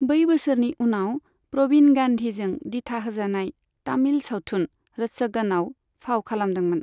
बै बोसोरनि उनाव प्रबिण गान्धीजों दिथा होजानाय तामिल सावथुन रच्चगनआव फाव खालामदोंमोन।